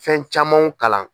Fɛn camanw kalan.